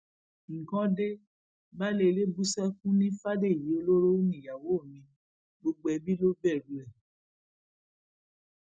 nǹkan dẹ baálé ilé bú sẹkún ní fàdèyí ọlọrọ níyàwó mi gbogbo ẹbí mi ló bẹrù ẹ